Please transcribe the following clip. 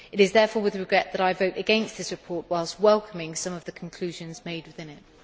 It is therefore with regret that I vote against this report, whilst welcoming some of the conclusions made within it.